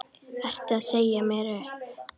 Ertu að segja mér upp?